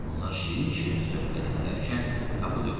Onlar şirin-şirin söhbət eləyərkən qapı döyüldü.